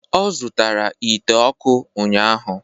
Ọ zụtara ite ọkụ ụnyahụ